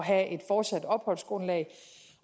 have et fortsat opholdsgrundlag